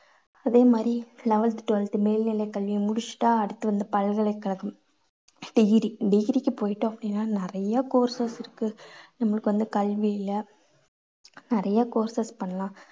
அதே மாதிரி eleventh twelfth மேல்நிலை கல்வியை முடிச்சுட்டா அடுத்து வந்து பல்கலைக்கழகம் degree degree க்கு போயிட்டோம் அப்படின்னா நிறைய courses இருக்கு. நம்மளுக்கு வந்து கல்வியில நிறைய courses பண்ணலாம்.